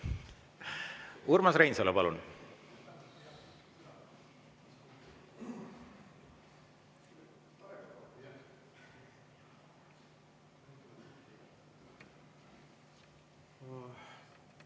Urmas Reinsalu, palun!